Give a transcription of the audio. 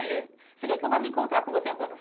Você quer que eu vá me encontrar com você em algum?